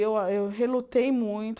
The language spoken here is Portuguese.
Eu a eu relutei muito.